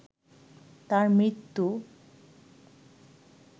তাঁর মৃত্যু